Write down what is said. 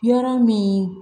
Yɔrɔ min